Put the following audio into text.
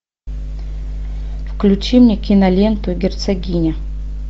включи мне киноленту герцогиня